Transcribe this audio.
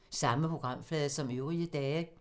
Samme programflade som øvrige dage